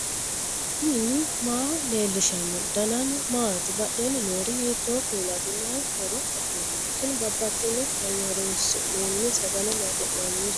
knuni maa leellishanno ? danano maati ? badheenni noori hiitto kuulaati ? mayi horo afirino ? tini babbaxino hayyo horoonsi'noonni sagale maaxi'nannireeti